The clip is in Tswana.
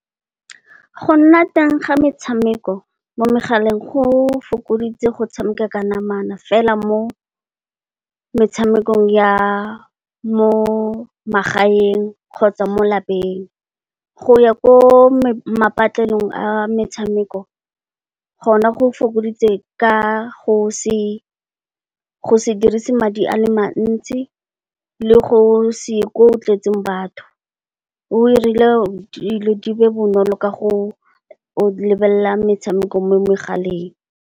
Go nna teng ga metshameko mo megaleng go fokoditse go tshameka ka namana fela mo metshamekong ya mo magaeng kgotsa, mo lapeng go ya ko patlelong ya metshameko, gona go fokoditse ka go se dirise madi a le mantsi, le go se ye ko go tletseng batho o irile dilo di be bonolo ka go lebelela metshameko mo megaleng.